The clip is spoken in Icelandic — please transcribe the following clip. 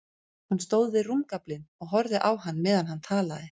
Hún stóð við rúmgaflinn og horfði á hann meðan hann talaði.